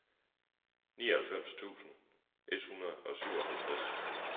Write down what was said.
nioghalvfems tusind et hundrede og syvoghalvtreds